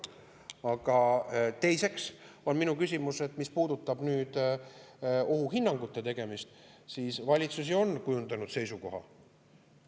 Aga teiseks, mis puudutab nüüd ohuhinnangute tegemist, siis valitsus ju on kujundanud seisukoha.